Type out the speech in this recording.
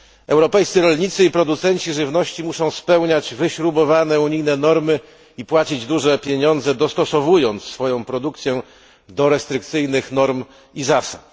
Europejscy rolnicy i producenci żywności muszą spełniać wyśrubowane unijne normy i płacić duże pieniądze, dostosowując swoją produkcję do restrykcyjnych norm i zasad.